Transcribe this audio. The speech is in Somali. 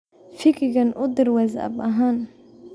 vikki kan u dir whatsapp ahaan